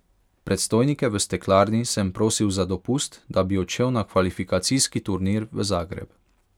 Predstojnike v steklarni sem prosil za dopust, da bi odšel na kvalifikacijski turnir v Zagreb.